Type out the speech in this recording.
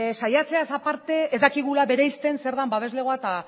saiatzeaz aparte ez dakigula bereizten zer den babeslegoa eta